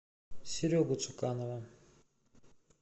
серегу цуканова